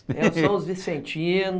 São os vicentinos